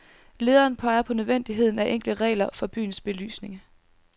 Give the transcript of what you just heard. Lederen peger på nødvendigheden af enkle regler for byens belysning.